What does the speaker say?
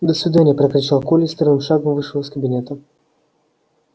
до свидания прокричал коля и строевым шагом вышел из кабинета